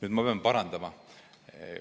Aga ma pean teid parandama.